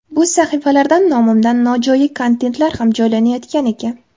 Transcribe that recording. Bu sahifalardan nomimdan nojo‘ya kontentlar ham joylanayotgan ekan.